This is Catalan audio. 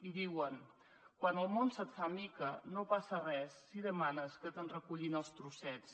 i diuen quan el món se’t fa miques no passa res si demanes que te’n recullin els trossets